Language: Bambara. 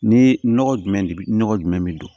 Ni nɔgɔ jumɛn nɔgɔ jumɛn bɛ don